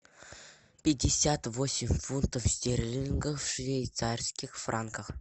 пятьдесят восемь фунтов стерлингов в швейцарских франках